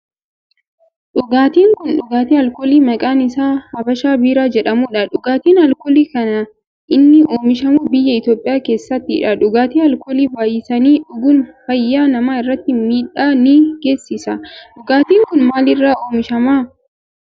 Dhugaatin kun dhugaatii alkoolii maqaan isaa habashaa biiraa jedhamudha. Dhugaatin alkoolii kan inni oomishamu biyya Itiyoophiyaa keessattidha. Dhugaatii alkoolii baayyisanii dhuguun fayyaa namaa irratti miidhaa ni geessisa. Dhugaatin kun maal irraa oomishama?